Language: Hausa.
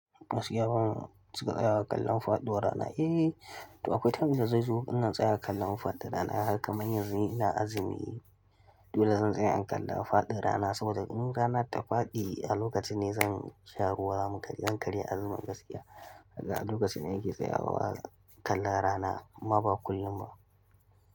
Masu gyaran suka tsayawa kallon faɗuwar rana. Eh, to akwai lokacin da zai zo wannan tsayawar kallon faɗuwar rana haka kaman yanzu ina azumi. Dole zan tsaya in kalla faɗin rana saboda in rana ta faɗi a lokaci ne zan sha ruwa zan karya azumin gaskiya. Haka a lokacin ne ake tsayawa kalla rana amma ba kullum ba.